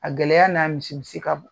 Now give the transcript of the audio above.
A gɛlɛya n'a misimisi ka bon